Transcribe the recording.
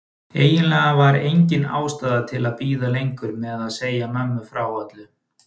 Eiginlega var engin ástæða til að bíða lengur með að segja mömmu frá öllu.